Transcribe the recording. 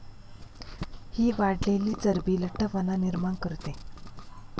हि वाढलेली चरबी लठ्ठपणा निर्माण करते.